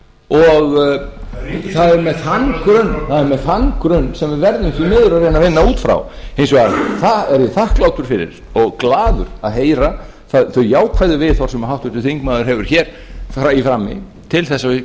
og það er með þann grunn sem við verðum því miður að reyna að vinna út frá hins vegar er ég þakklátur fyrir og glaður að heyra þau jákvæðu viðhorf sem háttvirtur þingmaður hefur hér í frammi til þess að við